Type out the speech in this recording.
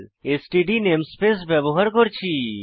STD namespace ব্যবহার করেছি